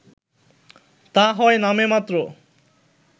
তা হয় নামেমাত্র